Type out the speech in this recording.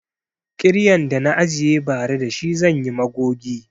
Kiryan da na ajiye ba ra da shi zanyi magogi